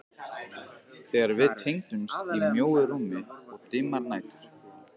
Þegar við tengdumst í mjóu rúmi um dimmar nætur.